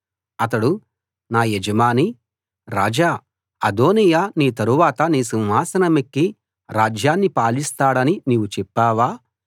అతడు నా యజమానీ రాజా అదోనీయా నీ తరవాత నీ సింహాసనమెక్కి రాజ్యాన్ని పాలిస్తాడని నీవు చెప్పావా